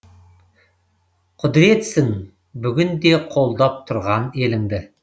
құдіретсің бүгін де қолдап тұрған еліңді